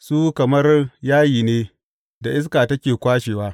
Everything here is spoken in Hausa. Su kamar yayi ne da iska take kwashewa.